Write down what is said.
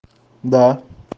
да